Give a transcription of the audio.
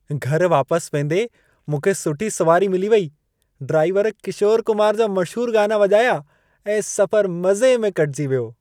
घरि वापस वेंदे मूंखे सुठी सुवारी मिली वेई। ड्राइवर किशोर कुमार जा मशहूर गाना वॼाया ऐं सफ़रु मज़े में कटिजी वियो।